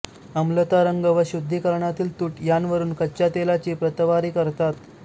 अम्लता रंग व शुद्घीकरणातील तूट यांवरुन कच्च्या तेलाची प्रतवारी करतात